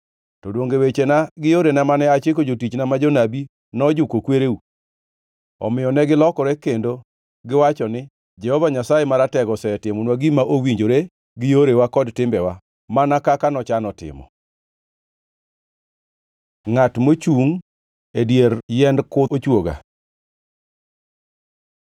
To donge wechena gi yorena mane achiko jotichna ma jonabi nojuko kwereu? “Omiyo negilokore kendo giwacho ni, ‘Jehova Nyasaye Maratego osetimonwa gima owinjore gi yorewa kod timbewa, mana kaka nochano timo.’ ” Ngʼat mochungʼ e dier yiend kuth ochwoga